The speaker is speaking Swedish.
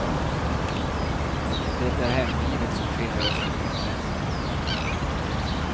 Det är hemlivet som skiljer oss från utlänningarna.